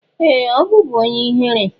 Ee! Ọ bụbu onye ihere.